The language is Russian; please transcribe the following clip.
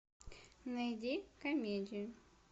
найди комедию